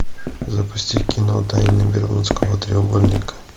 запусти кино тайны бермудского треугольника